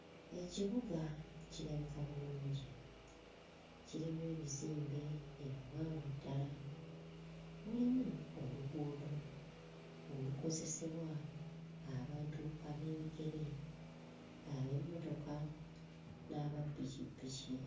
Ekibuga kirabika bulungi kirimu ebizimbe ebiwanvu ddala. Mulimu oluguudo olukozesebwa abantu ab'ebigere, ab'emmotoka n'aba ppikippiki.